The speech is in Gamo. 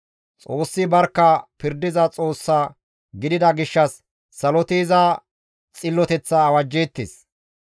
Xoossi barkka pirdiza Xoossa gidida gishshas saloti iza xilloteththa awajjeettes.